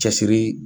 Cɛsiri